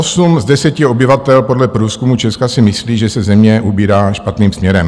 Osm z deseti obyvatel podle průzkumu Česka si myslí, že se země ubírá špatným směrem.